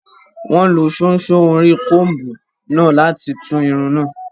Wọ́n lo ṣóńṣó orí kọńbù náà láti tú irun náà